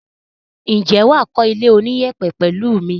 Ǹjẹ́ wà á kọ́ ilé oníyẹ̀pẹ̀ pẹ̀lẹ́ mi?